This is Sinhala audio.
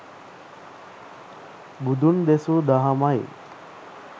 බුදුන් දෙසූ දහමයි